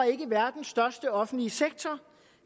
ikke verdens største offentlige sektor